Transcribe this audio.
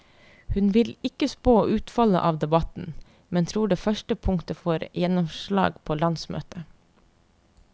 Hun vil ikke spå utfallet av debatten, men tror det første punktet får gjennomslag på landsmøtet.